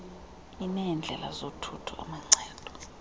ineendlela zothutho amancedo